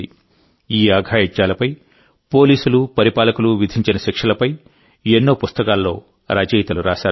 ఈ అఘాయిత్యాలపై పోలీసులు పరిపాలకులు విధించిన శిక్షలపై ఎన్నో పుస్తకాల్లో రచయితలు రాశారు